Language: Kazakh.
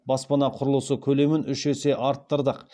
баспана құрылысы көлемін үш есе арттырдық